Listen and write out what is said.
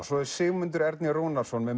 Sigmundur Ernir Rúnarsson með